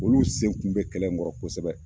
Olu sen kun be kɛlɛ in kɔrɔ kosɛbɛ